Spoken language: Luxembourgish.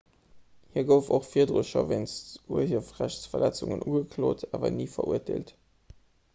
hie gouf och virdru scho wéinst urhiewerrechtsverletzungen ugeklot awer ni verurteelt